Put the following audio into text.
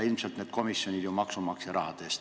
Ilmselt need komisjonid ju töötavad maksumaksja raha eest.